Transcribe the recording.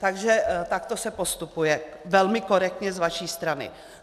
Takže takto se postupuje velmi korektně z vaší strany.